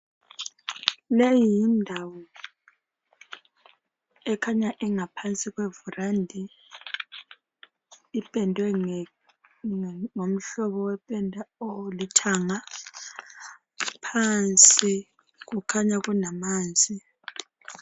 Leyi yindawo ekhanya ingaphansi kevurandi ipendwe ngohlopbo wependa olithanga ngaphansi kukhanya kulamanzi.